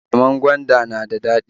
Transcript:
Lemon gwanda na da dadi